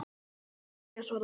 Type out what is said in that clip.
Mín er ánægjan svaraði ég.